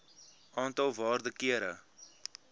aantal waarde kere